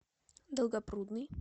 долгопрудный